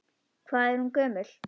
Hvað er hún gömul?